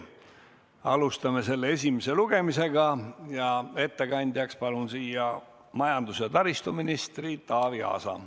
Alustame selle esimest lugemist ja ettekandjaks palun siia majandus- ja taristuminister Taavi Aasa.